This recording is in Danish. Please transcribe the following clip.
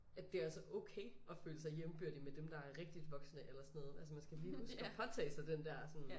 At det også er okay at føle sig jævnbyrdig med dem der er rigtigt voksne eller sådan noget altså man skal lige huske at påtage sig den der sådan